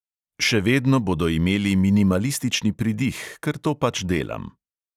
Še vedno bodo imeli minimalistični pridih, ker to pač delam.